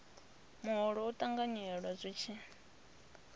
muholo u ṱanganyelwa zwi tshi